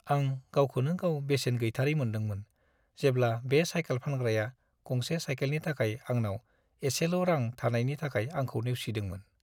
आं गावखौनो-गाव बेसेन गैथारै मोन्दोंमोन, जेब्ला बे साइकेल फानग्राया गंसे साइकेलनि थाखाय आंनाव एसेल' रां थानायनि थाखाय आंखौ नेवसिदोंमोन।